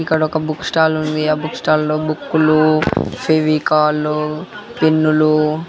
ఇక్కడ ఒక book stall ఉంది. అ బుక్ స్టాల్లో బుక్కులూ ఫెవికాళ్ళు పెన్నులూ --